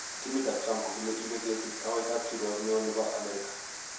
Timit ab Trump kokile ibe kesiit agoi kap kiruok ne oo nebo Amerika